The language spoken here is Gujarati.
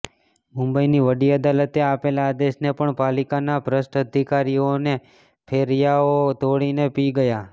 મુંબઈની વડી અદાલતે આપેલા આદેશને પણ પાલિકાના ભ્રષ્ટ અધિકારીઓ અને ફેરિયાઓ ઘોળીને પી ગયા છે